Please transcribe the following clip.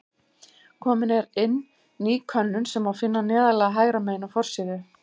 Komin er inn ný könnun sem má finna neðarlega hægra megin á forsíðu.